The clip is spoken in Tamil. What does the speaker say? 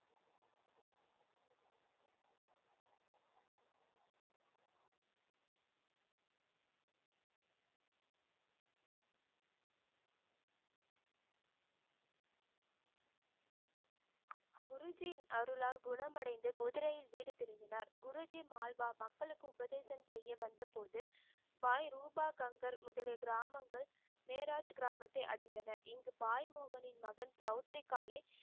குருஜியின் அருளால் குணமடைந்து குதிரையில் வீடு திரும்பினார். குருஜி ஆல்பா மக்களுக்கு உபதேசம் செய்ய வந்தபோது பாய் ரூபா கங்கர் முதலிய கிராமங்கள் நேராஜ் கிராமத்தை அடைந்தனர். இங்கு பாய் முகனின் மகன் சவுத்ரிகாலேஜ்